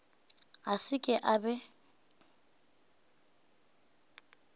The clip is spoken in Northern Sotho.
a se ke a be